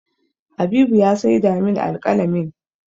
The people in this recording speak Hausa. Habibu ne ya saida min alƙalamin